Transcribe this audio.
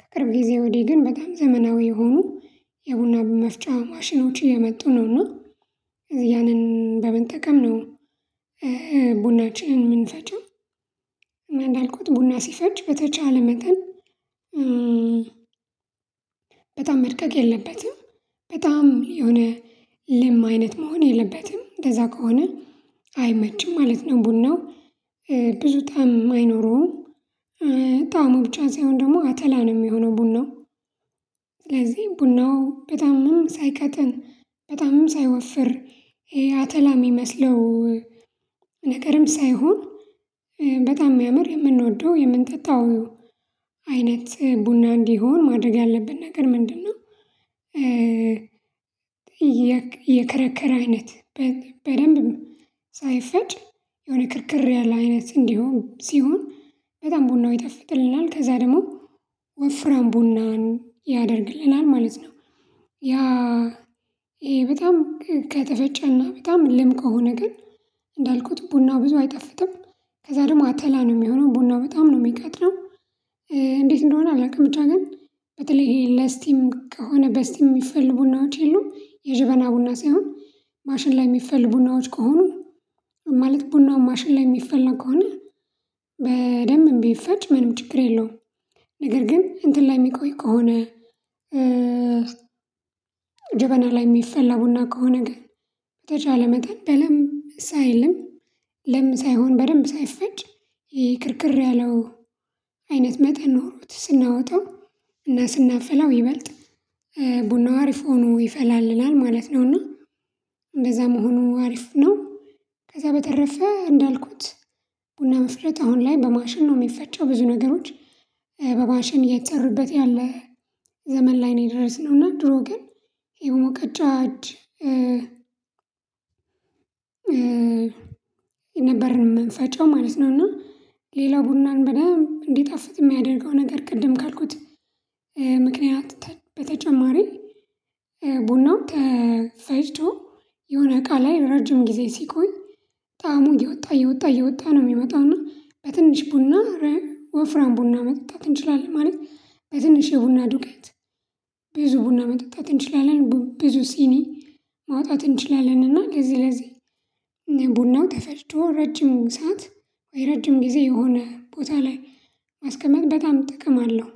ከቅርብ ጊዜ ወዲህ ግን በጣም ዘመናዊ የሆኑ የቡና መፍጫ ማሽኖች እየመጡ ነውና ያንን በመጠቀም ነው ቡናችን የምንፈጨው። እናእንዳልኩት ቡና ሲፈጭ በተቻለ መጠን በጣም መድቀቅ የለበትም በጣም የሆነ ልም አይነት መሆን የለበትም። እንደዛ ከሆነ አይመችም ማለት ነው። ቡናው ብዙ ጣዕም አይኖረውም ጣዕሙ ብቻ ሳይሆን ደግሞ አተላ ነው የሚሆነው ቡናው ስለዚህ ቡናው በጣምም ሳይቀጥ፤ በጣምም ሳይወፍር፤ ይሄ አተላ የሚመሰለው ነገርም ሳይሆን በጣም የሚያምር የምንወደው የምንጠጣው አይነት ቡና እንዲሆን ማድረግ ያለብን ነገር ምንድነው? የከረከረ አይነት በደንብ ሳይፈጭ የሆነ ክርክር ያለ አይነት እንዲሆን ሲሆን፤ በጣም ቡናው ይጠፍጥልናል፤ ከዛ ደግሞ ወፍራም ቡናን ያደርግልናል ማለት ነው ያ በጣም ከተፈጨና በጣም ልም ከሆነ ግን እንዳልኩት ቡናው ብዙ አይጠፍጥም። ከዛ ደግሞ አተላ ነው የሚሆነው ቡናው በጣም ነው የሚቀጥረው እንዴት እንደሆነ አላውቅም ብቻ ግን በተለይ ይሄ ለስቲም ከሆነ በስቲም የሚፈልጉ ቡናዎች የሉም የጅበና ቡና ሳይሆን ማሽን ላይ የሚፈልጉ ቡናዎች ከሆኑ ማለት ቡናው ማሽን ላይ የሚፈለግ ከሆነ በደንብ ቢፈጭ ምንም ችግር የለውም። ነገር ግን እንትን ላይ የሚቆይ ከሆነ ጀበና ላይ የሚፈላ ቡና ከሆነ ግን በተቻለ መጠን በደንብ ደስ አይልም። በደምብ ሳይሆን በደንብ ሳይፈጭ ክርክር ያለው አይነት መጠን ኖሮት ስናወጣው እና ስናፈላው ይበልጥ ቡናው አሪፍ ሆኖ ይፈላለላል ማለት ነውና እንደዛ መሆኑ አሪፍ ነው ከዛ በተረፈ እንዳልኩት ቡና መፍጨት አሁን ላይ በማሽን ነው የሚፈጨው ብዙ ነገሮች በማሽን እየተሰራበት ያለ ዘመን ላይ ነው የደረስነው እና ድሮ ግን የሞቀጫ እጅ ነበርን መንፈጫው ማለት ነው እና፤ ሌላ ቡናን በደንብ እንዲጣፍጥ የሚያደርገው ነገር ቅድም ካልኩት ምክንያት በተጨማሪ ቡና ተፈጭቶ የሆነ እቃ ላይ ረጅም ጊዜ ሲቆይ ጣዕሙ እየወጣ እየወጣ እየወጣ ነው የሚመጣው እና በትንሽ ቡና ወፍራም ቡና መጠጣት እንችላለን ማለት በትንሽ የቡና ዱቄት ብዙ ቡና መጠጣት እንችላለን ብዙ ሲኒ ማውጣት እንችላለን እና ለዚህ ለዚህ ቡናው ተፈጭቶ ረጅም ሰዓት ወይ ረጅም ጊዜ የሆነ ቦታ ላይ አስከመቅዳት ጥቅም አለው